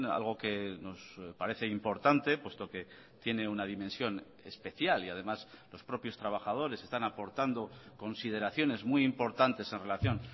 algo que nos parece importante puesto que tiene una dimensión especial y además los propios trabajadores están aportando consideraciones muy importantes en relación